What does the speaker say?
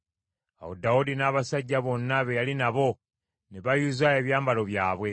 Awo Dawudi n’abasajja bonna be yali nabo, ne bayuza ebyambalo byabwe.